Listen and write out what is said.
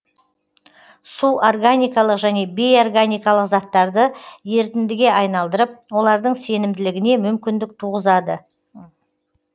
су органикалық және бейорганикалық заттарды ерітіндіге айналдырып олардың сенімділігіне мүмкіндік туғызады